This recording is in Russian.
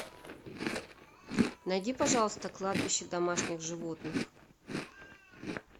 найди пожалуйста кладбище домашних животных